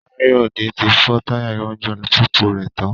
Káyọ̀dé ti fọ táyà iwájú alùpùpù rẹ̀ tán